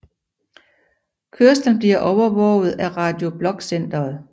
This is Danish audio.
Kørslen bliver overvåget af Radio Blok Centeret